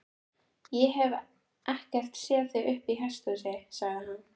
Ég hef ekkert séð þig uppi í hesthúsi, sagði hann.